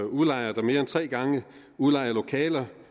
udlejere der mere end tre gange udlejer lokaler